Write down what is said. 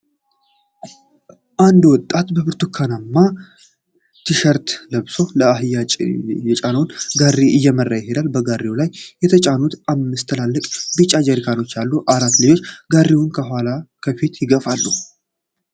አንድ ወጣት በብርቱካናማ ሸቲሸርት ለብሶ አህያ የጫነውን ጋሪ እየመራ ይሄዳል። በጋሪው ላይ የተጫኑ አምስት ትልልቅ ቢጫ ጀሪካኖች አሉ። አራት ልጆች ጋሪውን ከኋላና ከፊት ይገፋሉ።